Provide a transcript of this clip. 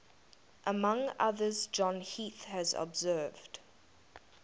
among others john heath has observed